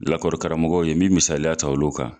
Lakɔri karamɔgɔw ye n bɛ misaliya ta olu kan.